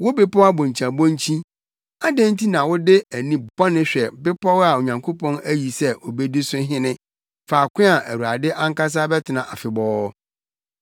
Wo bepɔw abonkyiabonkyi, adɛn nti na wode ani bɔne hwɛ bepɔw a Onyankopɔn ayi sɛ obedi so hene, faako a Awurade ankasa bɛtena afebɔɔ?